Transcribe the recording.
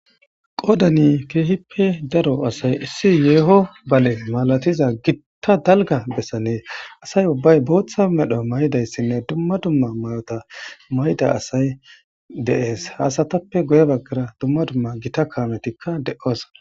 Qodani kehippe daro asay issi yeho bale masatiza asa ubbay botha medho mayidaysine duma duma mayo mayida asay de'es ha asatappe guye bagara dumma dumma gitta kanmetika de'osona